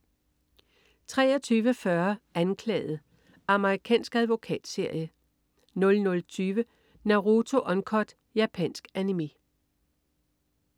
23.40 Anklaget. Amerikansk advokatserie 00.20 Naruto Uncut. Japansk Animé